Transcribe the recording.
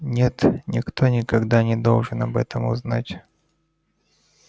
нет никто никогда не должен об этом узнать